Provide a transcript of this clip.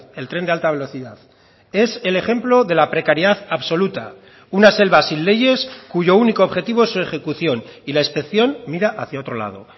el tren de alta velocidad es el ejemplo de la precariedad absoluta una selva sin leyes cuyo único objetivo es su ejecución y la inspección mira hacia otro lado